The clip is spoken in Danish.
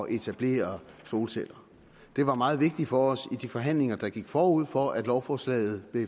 etablere solceller det var meget vigtigt for os i de forhandlinger der gik forud for at lovforslaget